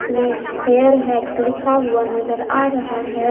इसमें hair hacks लिखा हुआ नजर आ रहा है।